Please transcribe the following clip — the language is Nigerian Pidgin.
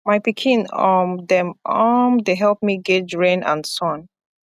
my pikin um dem um dey help me guage rain and sun